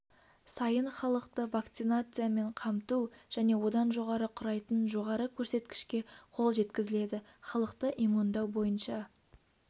сайын халықты вакцинациямен қамту және одан жоғары құрайтын жоғары көрсеткішке қол жеткізіледі халықты иммундау бойынша